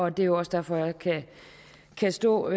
er jo også derfor jeg kan stå